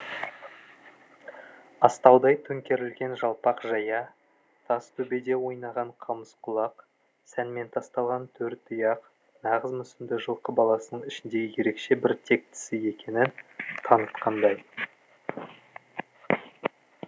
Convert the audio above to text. астаудай төңкерілген жалпақ жая тас төбеде ойнаған қамыс құлақ сәнмен тасталған төр тұяқ нағыз мүсінді жылқы баласының ішіндегі ерекше бір тектісі екенін танытқандай